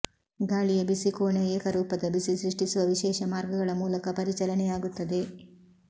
ಗಾಳಿಯ ಬಿಸಿ ಕೋಣೆಯ ಏಕರೂಪದ ಬಿಸಿ ಸೃಷ್ಟಿಸುವ ವಿಶೇಷ ಮಾರ್ಗಗಳ ಮೂಲಕ ಪರಿಚಲನೆಯಾಗುತ್ತದೆ